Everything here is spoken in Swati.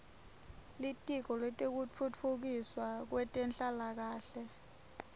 litiko letekutfutfukiswa kwetenhlalakahle